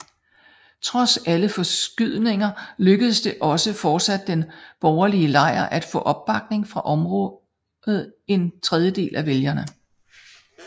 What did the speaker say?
Trods alle forskydninger lykkedes det også fortsat den borgerlige lejr at få opbakning fra omkring en tredjedel af vælgerne